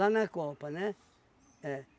na copa, né? É.